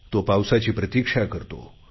तो पावसाची प्रतिक्षा करतो